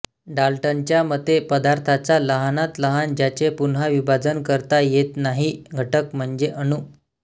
डाल्टनच्या मते पदार्थाचा लहानात लहान ज्याचे पुन्हा विभाजन करता येत नाही घटक म्हणजे अणु